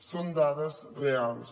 són dades reals